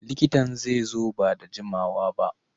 Likitan zai zo ba da jimawa ba.